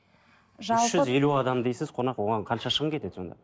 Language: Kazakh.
үш жүз елу адам дейсіз қонақ оған қанша шығын кетеді сонда